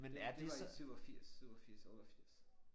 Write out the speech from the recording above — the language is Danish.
Det var det var i 87 87 88